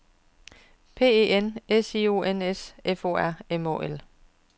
P E N S I O N S F O R M Å L